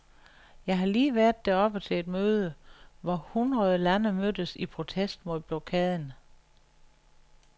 Jeg har lige været derovre til et møde, hvor hundrede lande mødtes i protest mod blokaden.